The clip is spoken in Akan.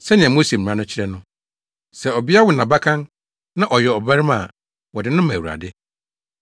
Sɛnea Mose mmara no kyerɛ no, “Sɛ ɔbea wo nʼabakan na ɔyɛ ɔbarima a wɔde no ma Awurade.”